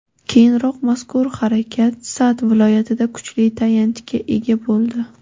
Keyinroq mazkur harakat Sa’d viloyatida kuchli tayanchga ega bo‘ldi.